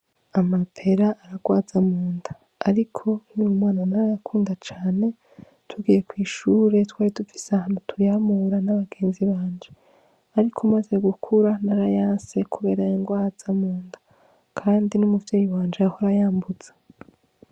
Amapera ararwaza munda ariko nkiri umwana narayakunda cane tugiye kw’ishure twari dufise ahantu tuyamura n'abagenzi banje ariko maze gukura narayase kubera yangwaza munda kandi n'umuvyeyi wanje yahora ayambuza.